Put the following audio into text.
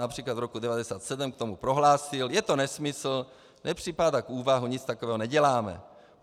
Například v roce 1997 k tomu prohlásil: Je to nesmysl, nepřipadá v úvahu, nic takového neděláme.